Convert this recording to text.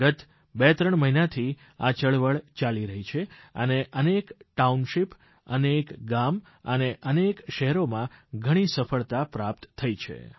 ગત બે ત્રણ મહિનાથી આ ચળવળ ચાલી છે તેનેઅનેક ટાઉનશીપ અનેક ગામ અનેક શહેરોમાં ઘણી સફળતા પ્રાપ્ત થઇ છે